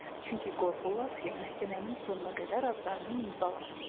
Çünki qorxurlar ki, məhkəmənin sonuna qədər adlarını unudalar.